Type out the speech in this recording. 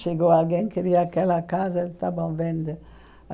Chegou alguém, queria aquela casa, tá bom, vende.